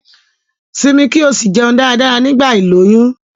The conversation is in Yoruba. Simi ki o si jeun dáradára nigba iloyun